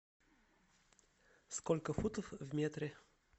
сколько футов в метре